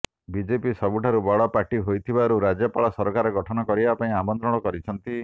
BJP ସବୁଠାରୁ ବଡ party ହୋଇଥିବାରୁ ରାଜ୍ୟପାଳ ସରକାର ଗଠନ କରିବା ପାଇଁ ଆମନ୍ତ୍ରଣ କରିଛନ୍ତି